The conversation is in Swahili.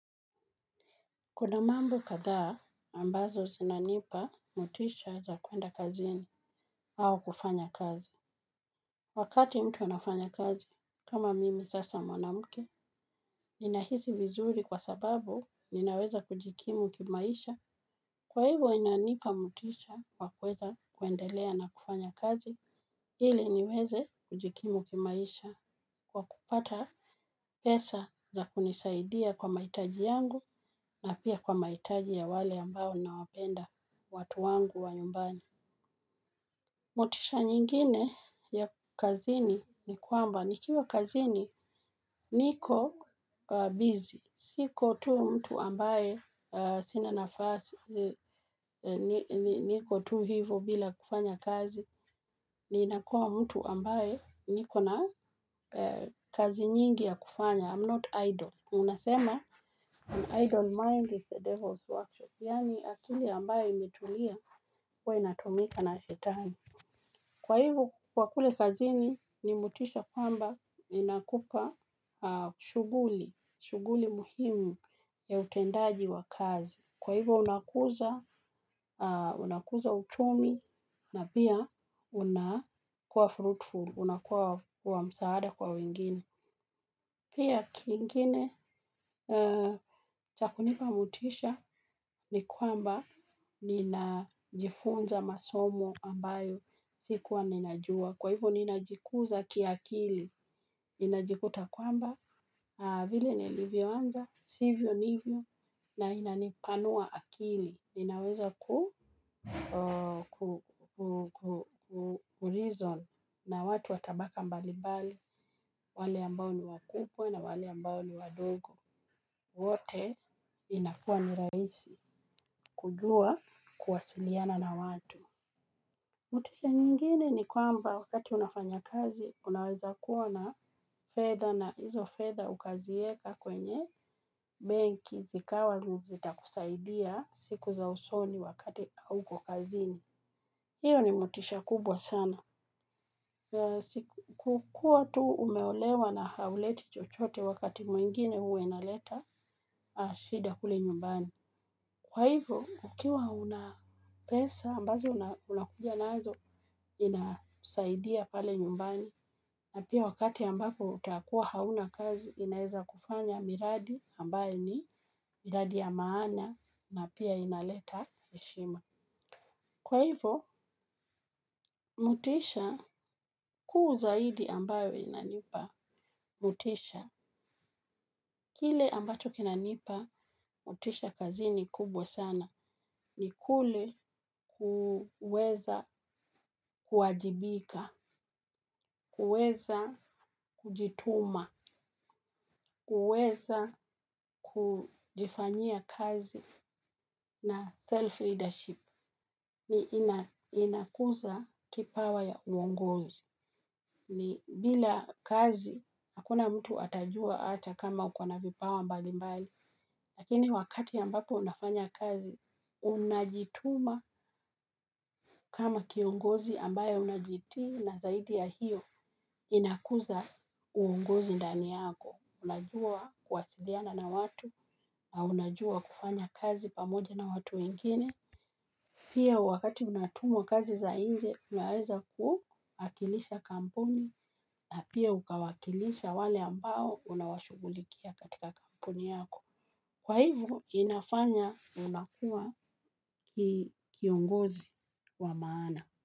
Kuna mambo kadhaa ambazo zinanipa motisha za kuenda kazini au kufanya kazi. Wakati mtu anafanya kazi, kama mimi sasa mwanamuke, nina hisi vizuri kwa sababu ninaweza kujikimu kimaisha. Kwa hivyo inanipa motisha kwa kuweza kuendelea na kufanya kazi, ili niweze kujikimu kimaisha. Kwa kupata pesa za kunisaidia kwa mahitaji yangu na pia kwa mahitaji ya wale ambao nawapenda watu wangu wa nyumbani. Motisha nyingine ya kazini ni kwamba, nikiwa kazini niko busy. Siko tu mtu ambaye sina nafasi ni ni niko tu hivo bila kufanya kazi. Ninakuwa mtu ambaye nikona kazi nyingi ya kufanya. I'm not idle. Unasema, an idle mind is the devil's workshop. Yani akili ambayo imetulia huwa inatumika na shetani. Kwa hivo, kwa kule kazini, ni motisha kwamba inakupa shughuli, shughuli muhimu ya utendaji wa kazi. Kwa hivo, unakuza, unakuza uchumi na pia una kuwa fruitful, unakuwa wa wa msaada kwa wengine. Pia kingine cha kunipa motisha ni kwamba ninajifunza masomo ambayo sikuwa ninajua. Kwa hivo ninajikuza kiakili ninajikuta kwamba vile nilivyo anza sivyo nivyo na inanipanua akili inaweza ku ku ku ku kureason na watu wa tabaka mbali mbali, wale ambao ni wa kubwa na wale ambao ni wadogo, wote inakua ni rahisi kujua kuwasiliana na watu. Motisha nyingine ni kwamba wakati unafanya kazi, unaweza kuwa na fedha na hizo fedha ukazieka kwenye benki zikawa n zita kusaidia siku za usoni wakati hauko kazini. Iyo ni motisha kubwa sana. Kukuwa tu umeolewa na hauleti chochote wakati mwingine huwe inaleta, shida kule nyumbani. Kwa hivyo, kukiwa una pesa ambazo una unakuja nazo ina saidia pale nyumbani, na pia wakati ambapo utakuwa hauna kazi, inaeza kufanya miradi ambayo ni miradi ya maana na pia inaleta heshima. Kwa hivo, motisha kuu zaidi ambayo inanipa, motisha. Kile ambacho kinanipa, motisha kazi ni kubwa sana. Ni kule ku kuweza kuwajibika, kuweza kujituma, kuweza kujifanyia kazi na self-leadership. Li ina inakuza kipawa ya uongozi ni bila kazi, hakuna mtu atajua ata kama ukona vipawa mbali mbali lakini wakati ambapo unafanya kazi, unajituma kama kiongozi ambaye unajiti na zaidi ya hiyo. Inakuza uongozi ndani yako unajua kuwasiliana na watu, unajua kufanya kazi pamoja na watu wengine pia wakati unatumwa kazi za nje, unaweza ku akilisha kampuni na pia ukawaakilisha wale ambao unawashugulikia katika kampuni yako. Kwa hivo, inafanya unakuwa ki kiongozi wa maana.